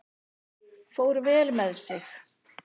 Fór vel með sig.